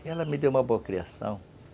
E ela me deu uma boa criação.